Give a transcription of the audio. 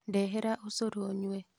Ndehera ũcũrũ nyue